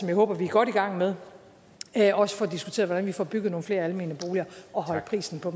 jeg håber vi er godt i gang med også får diskuteret hvordan vi får bygget nogle flere almene boliger og holdt prisen på